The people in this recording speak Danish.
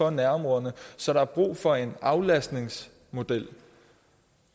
og nærområderne så der er brug for en aflastningsmodel og